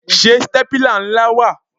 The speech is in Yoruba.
Ṣé stépìlà ńlá wà?